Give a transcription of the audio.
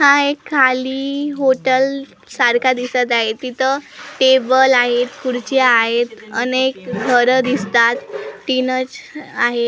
हा एक खाली हॉटल सारखा दिसत आहे तिथं टेबल आहे खुर्च्या आहेत अनेक घरं दिसतात तीनच आहेत.